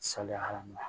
Saliya hadama